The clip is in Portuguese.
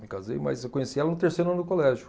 Me casei, mas eu conheci ela no terceiro ano do colégio.